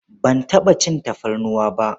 Ban taɓa cin tafarnuwa ba.